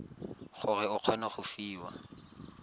gore o kgone go fiwa